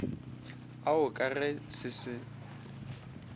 ao ka ge se se